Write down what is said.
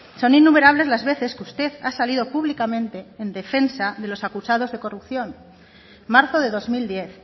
son innumerables las veces que usted ha salido públicamente en defensa de los acusados de corrupción marzo de dos mil diez